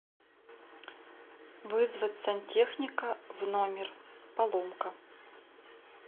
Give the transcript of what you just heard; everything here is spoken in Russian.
вызвать сантехника в номер поломка